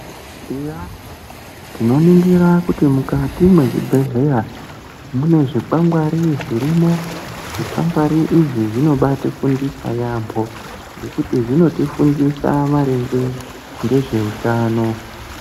Eya tinoningira kuti mukati mwezvibhedhlera, mune zvikwangwari zvirimo zvikwangwari izvi zvinobatifundisa yaambo ngekuti zvinotifundisa maringe ngezveutano.